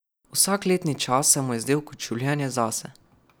Vsak letni čas se mu je zdel kot življenje zase.